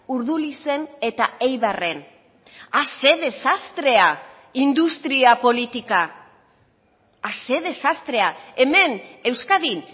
urdulizen eta eibarren ah ze desastrea industria politika ah ze desastrea hemen euskadin